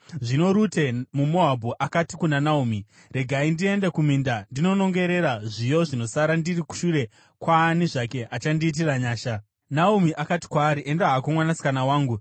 Zvino Rute muMoabhu akati kuna Naomi, “Regai ndiende kuminda ndinonongera zviyo zvinosara ndiri shure kwaani zvake achandiitira nyasha.” Naomi akati kwaari, “Enda hako mwanasikana wangu.”